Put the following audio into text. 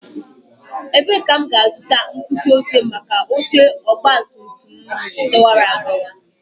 Ebee ka m ga-azụta mkpuchi oche maka oche ọgbatumtum m dọwara adọwa?